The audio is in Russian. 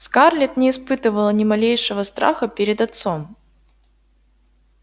скарлетт не испытывала ни малейшего страха перед отцом